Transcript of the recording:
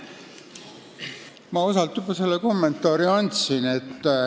Ma osalt juba andsin oma kommentaari.